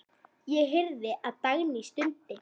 Ég heyrði að Dagný stundi.